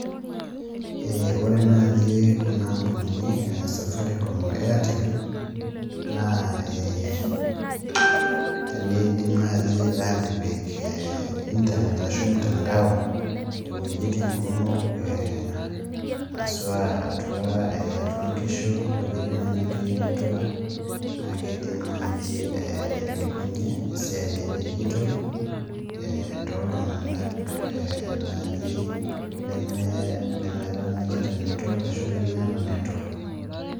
Ore naaji kuna ampunini e Safaricom o Airtel, naa teneidim naaji atipik internet ashu olmtandao asua atua inkishu, iwejitin nemetii network naa eidim naaji ailepunye esiai e digital toltung'ana naaji lemetaanikita network ashu lemeeta network.